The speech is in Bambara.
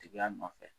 Tigiya nɔfɛ